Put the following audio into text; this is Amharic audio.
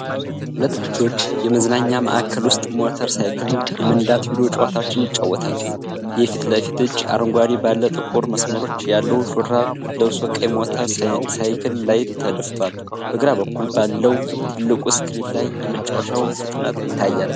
ሁለት ልጆች የመዝናኛ ማዕከል ውስጥ ሞተር ሳይክል የመንዳት ቪዲዮ ጨዋታዎችን ይጫወታሉ። የፊት ለፊቱ ልጅ አረንጓዴ ባለ ጥቁር መስመሮች ያለው ሹራብ ለብሶ ቀይ ሞተር ሳይክል ላይ ተደፍቷል። በግራ በኩል ባለው ትልቁ ስክሪን ላይ የመጫወቻው ፍጥነት ይታያል።